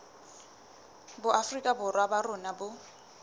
boafrika borwa ba rona bo